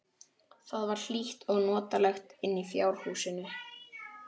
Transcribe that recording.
Það var hlýtt og notalegt inni í fjárhúsinu.